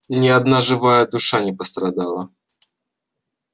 ни одна живая душа не пострадала